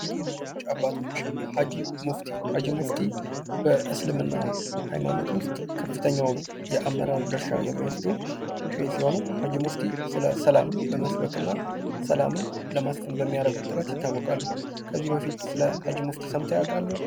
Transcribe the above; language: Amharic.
ታዋቂ መሪወች አባቶች ሀጅ ሙፍቲ፦ ሀጅ ሙፍቲ በእስልምና ሃይማኖት ዉስጥ ከፍተኛውን የአመራር ድርሻ የሚወስዱ ሸህ ሲሆኑ ሀጅ ሙፍቲ ስለ ሰላም በመስበክ እና ሰላምን ለማስፈን በሚያደርጉት ጥረት ዪታወቃሉ። ከዚህ በፊት ስለ ሀጅ ሙፍቲ ሰምተው ያውቃሉ?